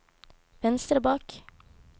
venstre bak